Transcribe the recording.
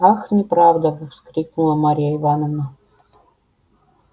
ах неправда вскрикнула марья ивановна